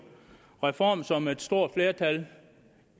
reform som et stort flertal